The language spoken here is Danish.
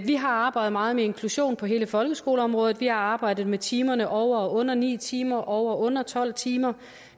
vi har arbejdet meget med inklusion på hele folkeskoleområdet vi har arbejdet med timerne over og under ni timer og over og under tolv timer